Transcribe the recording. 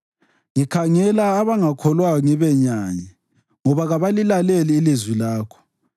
Ngikhangela abangakholwayo ngibenyanye, ngoba kabalilaleli ilizwi lakho.